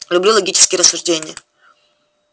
люблю логические рассуждения